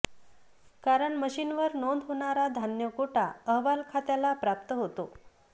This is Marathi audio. कारण मशीनवर नोंद होणारा धान्य कोटा अहवाल खात्याला प्राप्त होतो